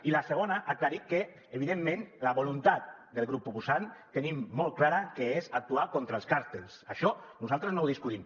i la segona aclarir que evidentment la voluntat del grup proposant tenim molt clar que és actuar contra els càrtels això nosaltres no ho discutim